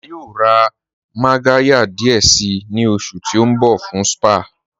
À yóò rá mágàryà díẹ̀ sí ni oṣù ti n bọ̀ fún spa